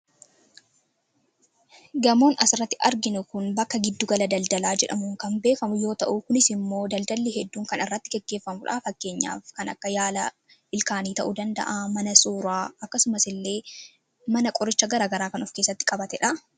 Gamoon as irratti arginu kun bakka giddu gala daldalaa jedhamuun kan beekamudha. Kunis immoo daldalli hedduun kan irratti geggeeffamudha. Fakkeenyaaf, kan akka: yaala ilkaanii, mana suuraa, mana qorcha garaa garaa fi kan kana fakkaatanidha.